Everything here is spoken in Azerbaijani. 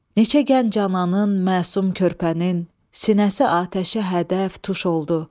Neçə gənc ananın, məsum körpənin sinəsi atəşə hədəf, tuş oldu.